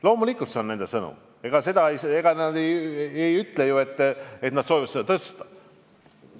Loomulikult on see nende sõnum, ega nad ei ütle ju, et nad soovivad seda tõsta.